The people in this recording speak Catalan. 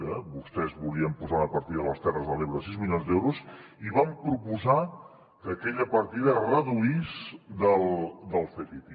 que vostès volien posar una partida a les terres de l’ebre de sis milions d’euros i van proposar que aquella partida es reduís del ctti